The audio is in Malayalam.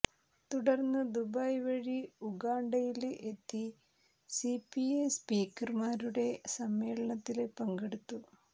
തുടര്ന്ന് ദുബായ് വഴി ഉഗാണ്ടയില് എത്തി സിപിഎ സ്പീക്കര്മാരുടെ സമ്മേളനത്തില് പങ്കെടുത്തു